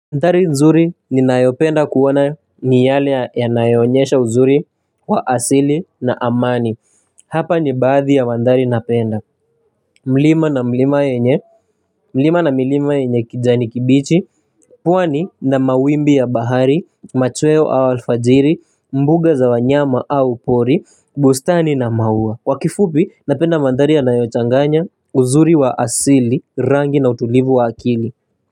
Mandhari nzuri ninayopenda kuona ni yale yanayonyesha uzuri wa asili na amani. Hapa ni baadhi ya mandhari napenda. Mlima na mlima yenye mlima na milima yenye kijani kibichi, pwani na mawimbi ya bahari, machweo au alfajiri, mbuga za wanyama au pori, bustani na maua. Kwa kifupi, napenda mandhari yanayochanganya uzuri wa asili, rangi na utulivu wa akili.